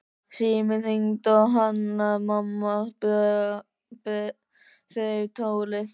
Síminn hringdi og Hanna-Mamma þreif tólið.